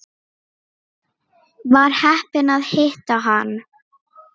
Var heppin að hitta hann.